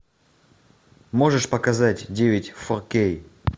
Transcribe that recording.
можешь показать девять фо кей